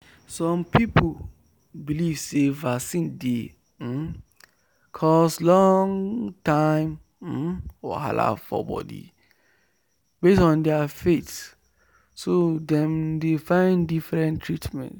some people believe say vaccine dey um cause long-term um wahala for body based on their faith so dem dey find different treatment.